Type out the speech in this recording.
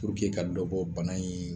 ka dɔ bɔ bana in